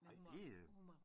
Ej det øh